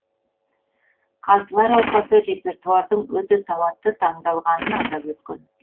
қазылар алқасы репертуардың өте сауатты таңдалғанын атап өткен